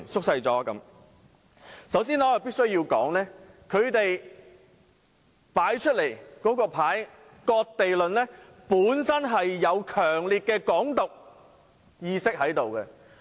首先，我必須指出，他們的"割地論"本身有強烈的"港獨"意識。